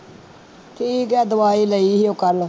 ਠੀਕ ਹੈ ਦਵਾਈ ਲਈ ਸੀ ਉਹ ਕੱਲ੍ਹ